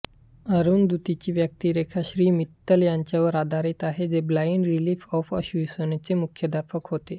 अनिरुद्धची व्यक्तिरेखा श्री मित्तल यांच्यावर आधारित आहे जे ब्लाइंड रिलीफ असोसिएशनचे मुख्याध्यापक होता